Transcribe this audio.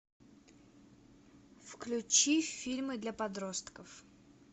включи фильмы для подростков